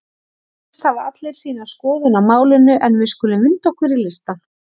Eflaust hafa allir sína skoðun á málinu en við skulum vinda okkur í listann.